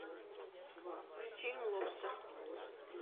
фильм лобстер